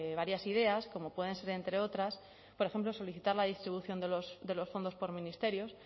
varias ideas como pueden ser entre otras por ejemplo solicitar la distribución de los fondos por ministerios